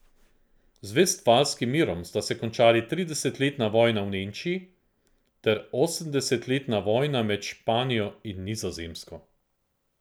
Z vestfalskim mirom sta se končali tridesetletna vojna v Nemčiji ter osemdesetletna vojna med Španijo in Nizozemsko.